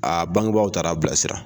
A bangebaw taar'a bilasira.